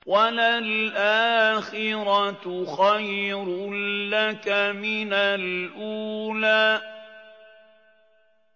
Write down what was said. وَلَلْآخِرَةُ خَيْرٌ لَّكَ مِنَ الْأُولَىٰ